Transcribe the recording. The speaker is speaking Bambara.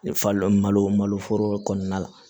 Falo malo malo foro kɔnɔna la